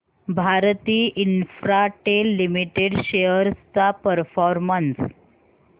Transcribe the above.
Bharti Infratel limited shares चा performance